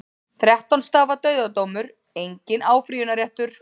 Þrettán stafa dauðadómur, enginn áfrýjunarréttur.